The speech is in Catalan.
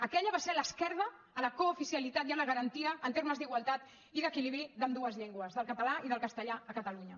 aquella va ser l’esquerda a la cooficialitat i a la garantia en termes d’igualtat i d’equilibri d’ambdues llengües del català i del castellà a catalunya